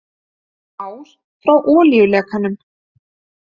Ár frá olíulekanum